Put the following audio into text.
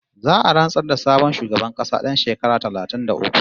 Za'a rantsar da sabon shugaban ƙasa ɗan shekara talatin da uku